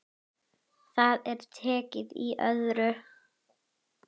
Það er tekið í öðru.